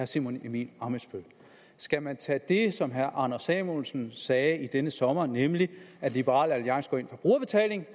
simon emil ammitzbøll skal man tage det som herre anders samuelsen sagde i denne sommer nemlig at liberal alliance går ind for brugerbetaling